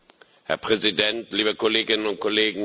Herr Präsident, liebe Kolleginnen und Kollegen!